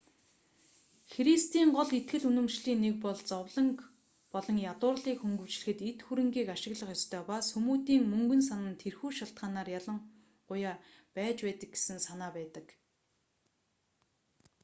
христийн гол итгэл үнэмшлийн нэг бол зовлонг болон ядуурлыг хөнгөвчлөхөд эд хөрөнийг ашиглах ёстой ба сүмүүдийн мөнгөн сан нь тэрхүү шалтгаанаар ялангуяа байж байдаг гэсэн санаа байдаг